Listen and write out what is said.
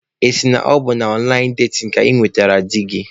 Ị sị na ọ bụ na ọnlaịn datin ka ị nwetara di gị?